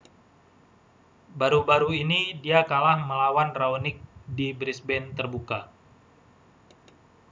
baru-baru ini dia kalah melawan raonic di brisbane terbuka